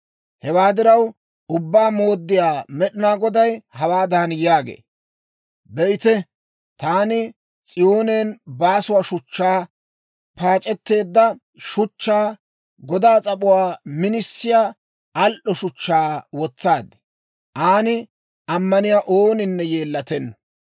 Hewaa diraw, Ubbaa Mooddiyaa Med'inaa Goday hawaadan yaagee; «Be'ite, taani S'iyoonen baasuwaa shuchchaa, paac'etteedda shuchchaa, godaa s'ap'uwaa minisiyaa, al"o shuchchaa wotsaad; aan ammaniyaa ooninne yeellatenna.